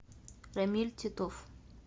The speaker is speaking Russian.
рамиль титов